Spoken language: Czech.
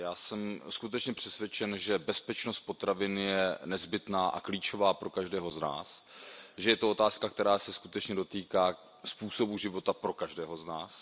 Já jsem skutečně přesvědčen, že bezpečnost potravin je nezbytná a klíčová pro každého z nás, že je to otázka, která se skutečně dotýká způsobu života každého z nás.